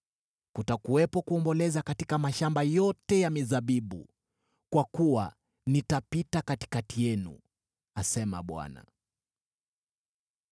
Kutakuwepo kuomboleza katika mashamba yote ya mizabibu, kwa kuwa nitapita katikati yenu,” asema Bwana .